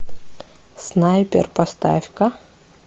снайпер поставь ка